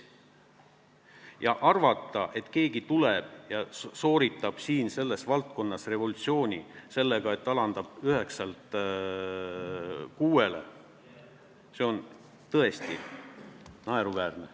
Ja arvata, et keegi tuleb ja sooritab siin selles valdkonnas revolutsiooni sellega, et alandab käibemaksu 9%-lt 6%-le – see on tõesti naeruväärne.